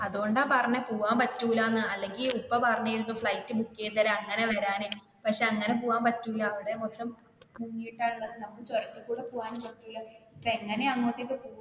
അതുകൊണ്ട് ആ പറഞ്ഞെ പോവാൻ പറ്റൂല എന്ന് അല്ലെങ്കിൽ ഉപ്പ പറഞ്ഞിരുന്നു flight book ചെയ്തു തരാം അങ്ങനെ വരം എന്ന് പക്ഷെ അങ്ങനെ പോകാൻ പറ്റൂല അവിടെ മൊത്തം മുങ്ങിട്ട ഉള്ളത് നമുക്ക് ചുരത്തിൽ കൂടെ പോകാനും പറ്റൂല ഇപ്പൊ എങ്ങനെയാ അങ്ങോട്ട്